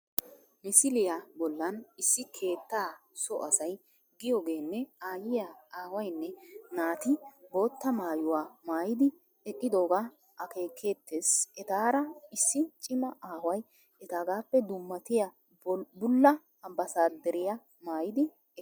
Misiliya bollan issi keettaa so asay giyogeenne aayyiya, aawaynne naati bootta maayuwa maayidi eqqidoogaa akeekeettees Etaara issi cima away etaagaappe dummatiya bulla ambbaasadwrita maayidi eqqiis